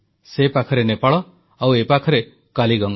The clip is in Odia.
ସେ ପାଖରେ ନେପାଳ ଆଉ ଏ ପାଖରେ କାଲିଗଙ୍ଗା